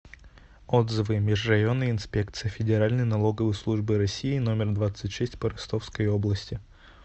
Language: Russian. отзывы межрайонная инспекция федеральной налоговой службы россии номер двадцать шесть по ростовской области